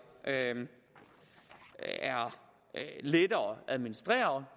er lettere at administrere